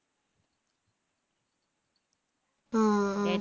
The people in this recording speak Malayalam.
ആ ആ